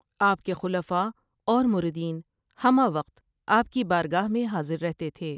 آپ کے خلفاء اور مریدین ہمہ وقت آپ کی بارگاہ میں حاضر رہتے تھے ۔